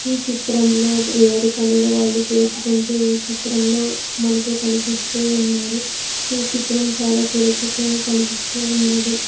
ఈ చిత్రంలో ఎవరి పనులు వాళ్ళు చేసుకుంటూ ఈ చిత్రంలో మనకి కనిపిస్తూ ఉన్నారు ఈ చిత్రం చాలా చూడ చక్కగా కనిపిస్తూ ఉన్నది.